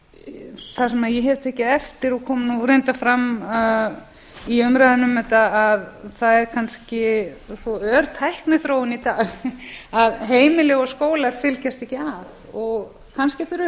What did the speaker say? sem ég hef tekið eftir og kom reyndar fram í umræðunni um þetta að það er kannski svo ör tækniþróun í dag að heimili og skólar fylgjast ekki að kannski þurfum við